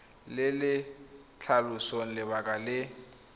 le le tlhalosang lebaka le